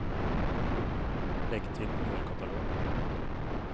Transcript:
legg til underkatalog